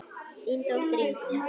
Þín dóttir Ingunn.